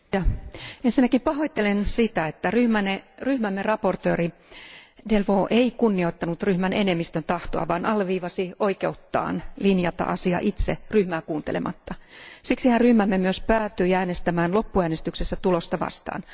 Arvoisa puhemies, ensinnäkin pahoittelen sitä, että ryhmämme esittelijä Delvaux ei kunnioittanut ryhmän enemmistön tahtoa, vaan alleviivasi oikeuttaan linjata asia itse ryhmää kuuntelematta. Siksihän ryhmämme myös päätyi äänestämään loppuäänestyksessä tulosta vastaan.